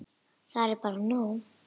Það er bara nóg.